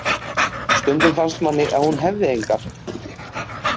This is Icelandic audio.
Stundum fannst manni að hún hefði engar.